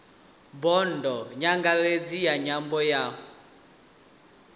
bodo nyangaredzi ya nyambo ya